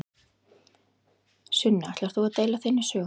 Sunna: Ætlar þú að deila þinni sögu?